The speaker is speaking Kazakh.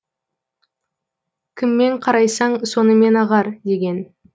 кіммен қарайсаң сонымен ағар деген